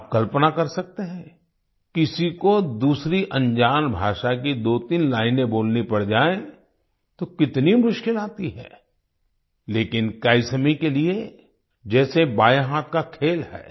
आप कल्पना कर सकते हैं किसी को दूसरी अनजान भाषा की दोतीन लाइने बोलनी पड़ जाए तो कितनी मुश्किल आती है लेकिन कैसमी के लिए जैसे बाएं हाथ का खेल है